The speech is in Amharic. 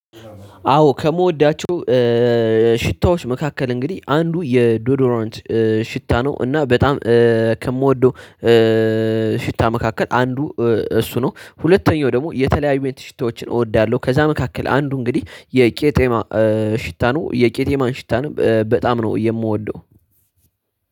አዎ ከምወዳቸው ሽታዎች መካከል እንግዲህ አንዱ የዶዶሮንት ሽታ ነው። እና በጣም ከምወደው ሽታ መካከል አንዱ እሱ ነው። ሁለተኛው ደግሞ የተለያዩ ሽታዎችን እወዳለሁ። ከዛ መካከል አንዱ እንግዲህ የቄጤማ ሽታኑ የቄጤማን ሽታንም በጣም ነው የምወደው።